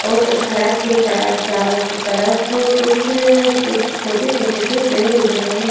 और सड़क के चा चारों स तरफ कुछ कुछ क छोटे छोटे से पेड़ उग रहे हैं।